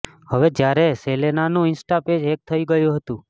હવે જ્યારે સેલેનાનું ઇન્સ્ટા પેજ હેક થઇ ગયું હતંુ